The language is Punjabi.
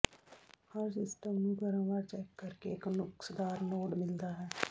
ਹਰ ਸਿਸਟਮ ਨੂੰ ਕ੍ਰਮਵਾਰ ਚੈੱਕ ਕਰਕੇ ਇੱਕ ਨੁਕਸਦਾਰ ਨੋਡ ਮਿਲਦਾ ਹੈ